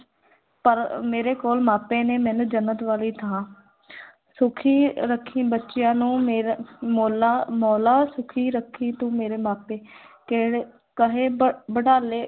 ਪਰ ਮੇਰੇ ਕੋਲ ਮਾਪੇ ਨੇ, ਮੈਨੂੰ ਜੰਨਤ ਵਾਲੀ ਥਾਂ ਸੁਖੀ ਰੱਖੀਂ ਬੱਚਿਆਂ ਨੂੰ ਮੇਰਾ ਮੌਲਾ ਮੋਲਾ ਸੁਖੀ ਰੱਖੀਂ ਤੂੰ ਮੇਰੇ ਮਾਪੇ ਕਿਹੜੇ ਕਹੇ ਬ ਬਡਾਲੇ